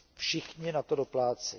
všichni na to doplácejí.